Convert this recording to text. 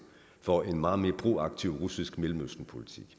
for en meget mere proaktiv russisk mellemøstenpolitik